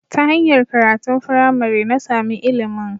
Ta hanyar karatun firamare, na samu ilimin